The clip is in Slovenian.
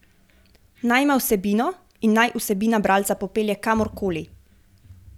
Naj ima vsebino, in naj vsebina bralca popelje kamorkoli.